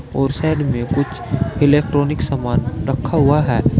और साइड में कुछ इलेक्ट्रॉनिक सामान रखा हुआ है।